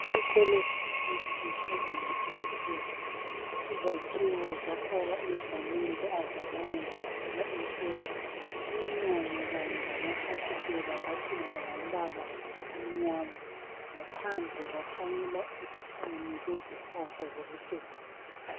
Isikolo sakithi sebanga eliphezulu, izakhiwo zafakwa izamende azizange zathelwa ipenda. Iminyango kanye lamafasitela kwapendwa ngombala omnyama, ngaphandle kwahlanyela utshani lezihlahla zokucecisa.